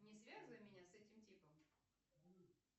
не связывай меня с этим типом